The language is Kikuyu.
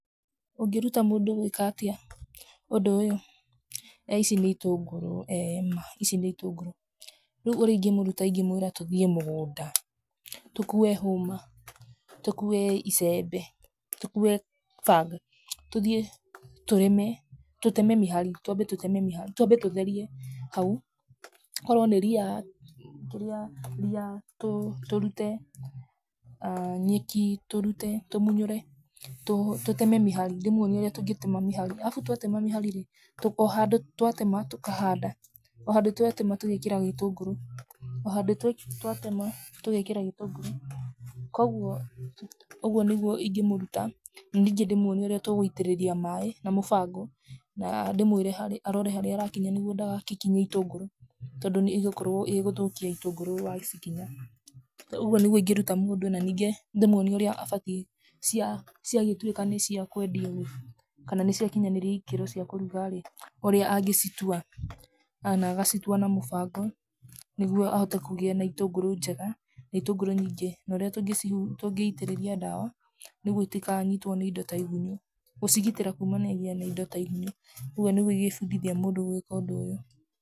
Ũngĩruta mũndũ gwĩka atĩa, ũndũ ũyũ? ici nĩ itũngũrũ, ee ma, ici nĩ itũngũrũ, rĩu ũrĩa ingĩmũruta ingĩmwĩra tũthiĩ mũgũnda, tũkue hũma, tũkue icembe, tũkue banga, tũthiĩ, tũrĩme, tũteme mĩhari, twambe tũteme mĩhari, twambe tũtherie hau, korwo nĩ ria ria ria, tũ tũrute, nyeki, tũrute tũmunyũre, tũ tũteme mĩhari, ndĩmwonie ũrĩa tũngĩtema mĩhari, arabu twatema mĩhari rĩ, tũko o handũ twatema, tũkahanda, o handũ twatema tũgekĩra gĩtũngũrũ, o handũ twatema tũgekĩra gĩtũngũrũ, koguo, ũguo nĩguo ingĩmũruta, rĩu ningí ndĩmuonie ũrĩa tũgũitĩrĩria maĩ, na mũbango, na ndĩmwĩre are, arore harĩa arakinya nĩguo ndagagĩkinye itũngũrũ, tondũ nĩgũkorwo ĩ gũthũkia gĩtũngũrũ wacikinya, ũguo nĩguo ingĩruta mũndũ na ningĩ ndĩmuonie ũrĩa abatiĩ cia ciagĩtwĩka nĩciakwendio rĩ, kana nĩciakinyaníria ikĩro cia kũruga rĩ, ũrĩa angĩcitua, na na agacitua na mũbango nĩguo ahote kũgĩa na itũngũrũ njega na itũngũrũ nyingĩ, norĩa tũngĩci tũngĩitĩrĩria ndawa, nĩguo itikanyitwo nĩ indo ta igunyũ, gũcigitĩra kumanagia na indo ta igunyũ, ũguo nĩguo ingĩbundithia mũndũ gwĩka ũndũ ũyũ.